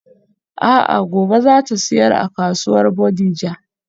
A'a gobe zata siyar a kasuwar Bodija.